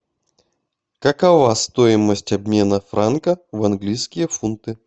какова стоимость обмена франка в английские фунты